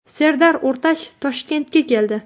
Serdar O‘rtach Toshkentga keldi.